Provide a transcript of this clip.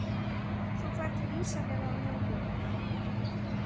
Þú ferð til Ísafjarðar á morgun.